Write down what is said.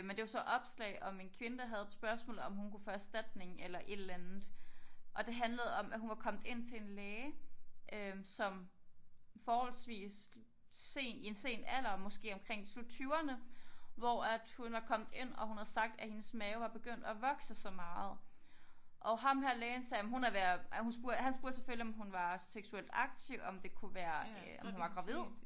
Men det var så opslag om en kvinde der havde et spørgsmål om hun kunne få erstatning eller et eller andet og det handlede om at hun var kommet ind til en læge øh som forholdsvist se i en sen alder måske omkring slut tyverne hvor at hun var kommet ind og hun havde sagt at hendes mave var begyndt at vokse sig meget og ham her lægen sagde jamen hun er ved at han spurgte selvfølgelig om hun var seksuelt aktiv om det kunne være øh om hun var gravid